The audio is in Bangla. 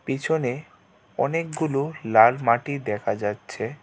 পিছনে অনেকগুলো লাল মাটি দেখা যাচ্ছে.